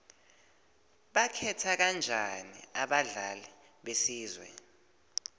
bakhetha kanjani abadlali besizwe